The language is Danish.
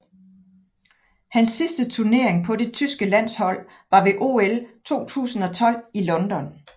Hans sidste turnering på det tyske landshold var ved OL 2012 i London